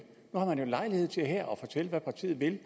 nu har man jo lejlighed til her forsvarsloven at fortælle hvad partiet vil